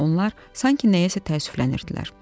Onlar sanki nəyəsə təəssüflənirdilər.